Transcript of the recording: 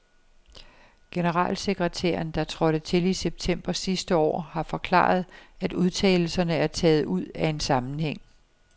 Generalsekretæren, der trådte til i september sidste år, har forklaret, at udtalelserne er taget ud af en sammenhæng.